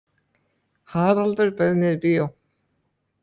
Haraldur bauð mér í bíó.